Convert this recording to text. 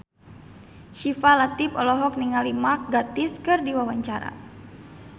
Syifa Latief olohok ningali Mark Gatiss keur diwawancara